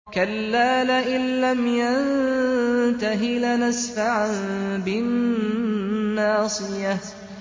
كَلَّا لَئِن لَّمْ يَنتَهِ لَنَسْفَعًا بِالنَّاصِيَةِ